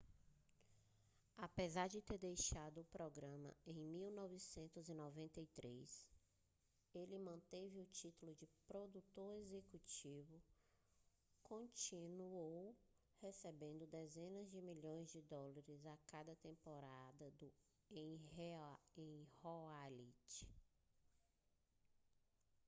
apesar de ter deixado o programa em 1993 ele manteve o título de produtor-executivo e continuou recebendo dezenas de milhões de dólares a cada temporada em royalties